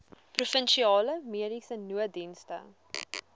provinsiale mediese nooddienste